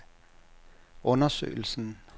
undersøgelsen